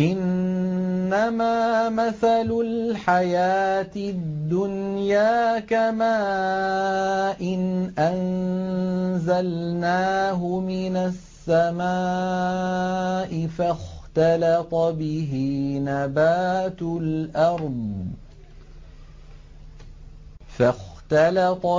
إِنَّمَا مَثَلُ الْحَيَاةِ الدُّنْيَا كَمَاءٍ أَنزَلْنَاهُ مِنَ السَّمَاءِ فَاخْتَلَطَ